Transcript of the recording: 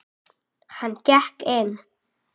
Hann gekk inn.